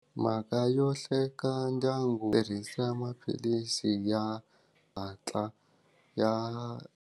Mhaka yo hleka ndyangu tirhisa maphilisi ya xihatla ya.